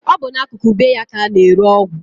Ọ bụ n'akụkụ be ya ka a na-ere ọgwụ